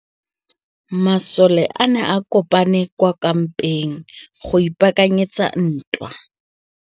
Masole a ne a kopane kwa kampeng go ipaakanyetsa ntwa.